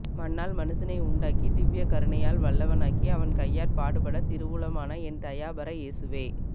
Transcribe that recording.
மண்ணால் மனுசனை உண்டாக்கி திவ்விய கருணையால் வல்லவனாக்கி அவன் கையாற் பாடுபடத் திருவுளமான என் தயாபர இயேசுவே